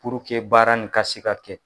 Purke baara nin ka se ka kɛ